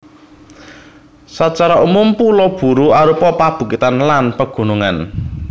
Sacara umum Pulo Buru arupa pabukitan lan pegunungan